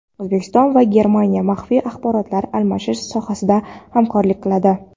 O‘zbekiston va Germaniya maxfiy axborotlar almashish sohasida hamkorlik qiladi.